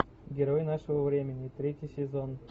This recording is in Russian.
герой нашего времени третий сезон